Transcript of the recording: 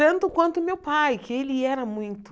Tanto quanto o meu pai, que ele era muito...